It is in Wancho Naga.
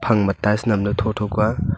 phamgma tiles namle thotho kua.